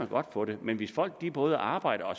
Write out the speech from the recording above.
godt få det men hvis folk både arbejder